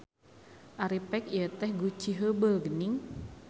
Ari pek ieu teh guci heubeul geuning.